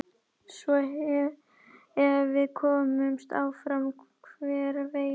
Svo ef við komumst áfram hver veit?